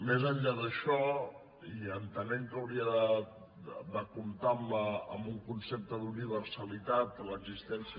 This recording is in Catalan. més enllà d’això i entenent que hauria de comptar amb un concepte d’universalitat l’existència